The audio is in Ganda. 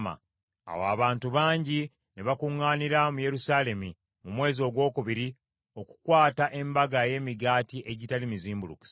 Awo abantu bangi ne bakuŋŋaanira mu Yerusaalemi mu mwezi ogwokubiri okukwata Embaga ey’Emigaati Egitali Mizimbulukuse.